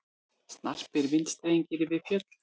Snarpir vindstrengir við fjöll